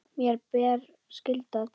Mér ber skylda til þess.